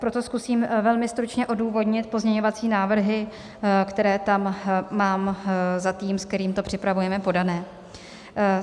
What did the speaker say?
Proto zkusím velmi stručně odůvodnit pozměňovací návrhy, které tam mám za tým, se kterým to připravujeme, podané.